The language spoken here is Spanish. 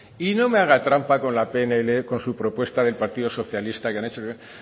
y no me haga trampa con la pnl con su propuesta del partido socialista que han hecho